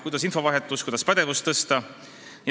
Kuidas parandada infovahetust ja tõsta pädevust?